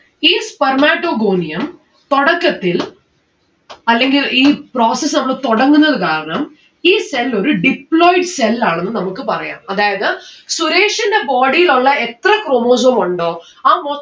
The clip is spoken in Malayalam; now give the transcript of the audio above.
ഈ spermatogonium തൊടക്കത്തിൽ അല്ലെങ്കിൽ ഈ process നമ്മള് തൊടങ്ങുന്നത് കാരണം ഈ cell ഒരു deployed cell ആണെന്ന് നമ്മുക്ക് പറയാം. അതായത് സുരേഷിന്റെ body യിലുള്ള എത്ര chromosome ഉണ്ടോ ആ മൊ